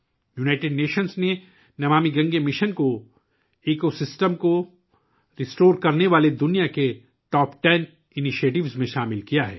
اقوام متحدہ نے 'نمامی گنگے' مشن کو ماحولیاتی نظام کی بحالی کے لیے دنیا کے ٹاپ ٹین اقدامات میں شامل کیا ہے